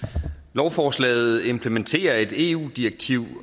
lovforslaget implementerer et eu direktiv